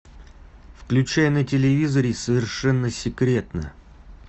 включай на телевизоре совершенно секретно